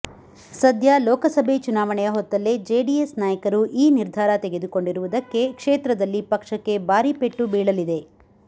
ಸದ್ಯ ಲೋಕಸಭೆ ಚುನಾವಣೆಯ ಹೊತ್ತಲ್ಲೇ ಜೆಡಿಎಸ್ ನಾಯಕರು ಈ ನಿರ್ಧಾರ ತೆಗೆದುಕೊಂಡಿರುವುದಕ್ಕೆ ಕ್ಷೇತ್ರದಲ್ಲಿ ಪಕ್ಷಕ್ಕೆ ಬಾರಿ ಪೆಟ್ಟು ಬೀಳಲಿದೆ